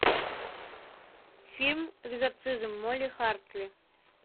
фильм экзорцизм молли хартли